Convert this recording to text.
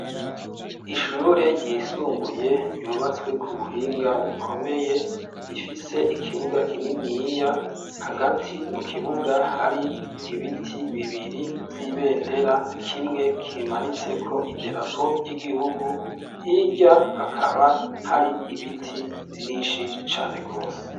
Ishure ryisumbuye, ryubatswe ku buhinga bukomeye, rifise ikibuga kininiya; hagati mu kibuga, hari ibiti bibiri vy'ibendera, kimwe kimanitseko iderapo ry'igihugu, hirya, hakaba hari ibiti, vyinshi cane rwose.